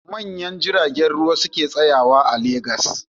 Manyan jiragen ruwa su ke tsayawa a Legas.